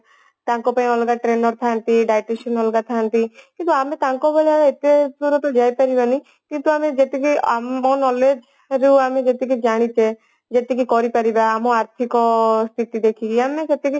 ତାଙ୍କ ପାଇଁ ଅଲଗା trainer ଥାନ୍ତି dietitian ମାନେ ଅଲଗା ଥାନ୍ତି କିନ୍ତୁ ଆମେ ତାଙ୍କ ଭଳିଆ ଏତେ ଉପରକୁ ତ ଯାଇ ପାରିବନି କିନ୍ତୁ ଆମେ ଯେତିକି ଆମ knowledge ରୁ ଆମେ ଯେତିକି ଜାଣିଛେ ଯେତିକି କରିପାରିବା ଆମ ଆର୍ଥିକ ସ୍ଥିତି ଦେଖିକି ଆମେ ସେତିକି